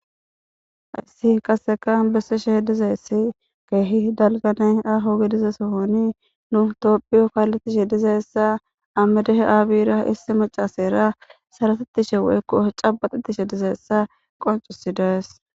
Hayssi qasekan besseshe dizeessi keehi dalgane aaho gedize sohoni nu toophiyo kaaletishe dizeyssa amidehe aabira issi macaseera saratetishe woykko cabaxetishe dizeessa qoncusidaes.